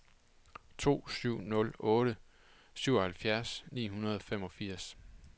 to syv nul otte syvoghalvfjerds ni hundrede og femogfirs